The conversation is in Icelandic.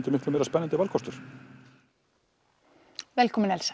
því miklu meira spennandi valkostur velkomin Elsa